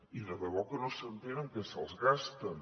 i de debò que no s’entén en què se’ls gasten